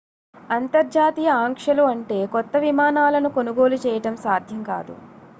అంతర్జాతీయ ఆంక్షలు అంటే కొత్త విమానాలను కొనుగోలు చేయడం సాధ్యం కాదు